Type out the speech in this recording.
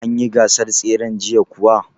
An yi gasar tseren jiya kuwa?